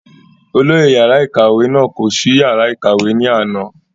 olóyè yàrá ìkàwé náà kò sí yàrá ìkàwé ní àná